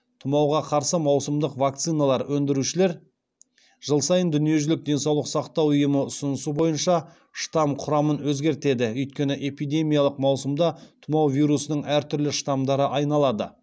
тұмауға қарсы маусымдық вакциналар өндірушілер жыл сайын дүниежүзілік денсаулық сақтау ұйымы ұсынысы бойынша штамм құрамын өзгертеді өйткені эпидемиялық маусымда тұмау вирусының әртүрлі штамдары айналады